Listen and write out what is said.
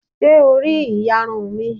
Ṣé o rí ìyarun mi?